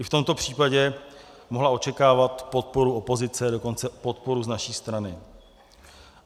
I v tomto případě mohla očekávat podporu opozice, dokonce podporu z naší strany.